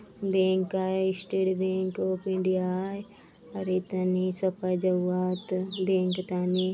बैंक आय state bank of India आय और ए थने सपा जाउआत बैंक ताने --